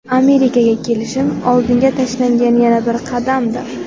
Amerikaga kelishim oldinga tashlangan yana bir qadamdir.